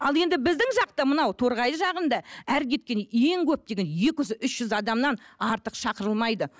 ал енді біздің жақта мынау торғай жағында әрі кеткенде ең көп дегенде екі жүз үш жүз адамнан артық шақырылмайды